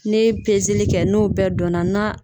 N'e ye pezeli kɛ n'o bɛɛ dɔnn'a na